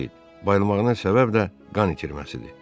Bayılmağının səbəb də qan itirməsidir.